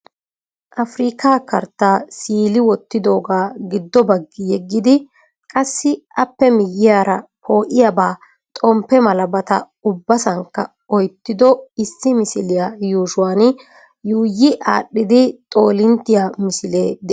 Afrikka kartta siili wottidooga giddo baggi yeggidi qassi appe miyyiyaara poo'iyaaba xomppe malabata ubbasankka oyttido issi misiliya yuushshuwan yuuyi aadhdhidi xoolinttiya misilee de'ees.